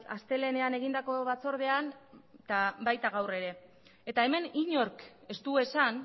astelehenean egindako batzordean eta baita gaur ere eta hemen inork ez du esan